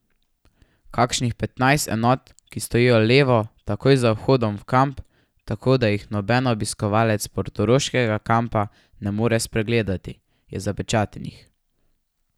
Kakšnih petnajst enot, ki stojijo levo, takoj za vhodom v kamp, tako da jih noben obiskovalec portoroškega kampa ne more spregledati, je zapečatenih.